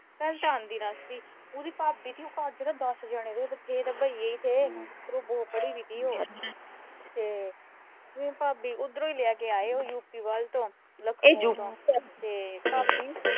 ਤੈਨੂੰ ਤਾਂ ਆਂਦੀ ਰਸਤੀ। ਉਹਦੀ ਭਾਬੀ ਦੇ ਘਰ ਨਾ ਦਸ ਜਣੇ ਥੇ, ਬਥੇਰੇ ਤਾਂ ਬਈਏ ਈ ਥੇ ਸਿਰਫ਼ ਦੋ ਪੜੀ ਬਈ ਸੀ ਉਹ ਹਮ ਉਹਨੂੰ ਭਾਬੀ ਉਹਧਰੋਂ ਈ ਲੈ ਕੇ ਆਏ ਯੂ. ਪੀ. ਵੱਲ ਤੋਂ ਤੇ ਭਾਬੀ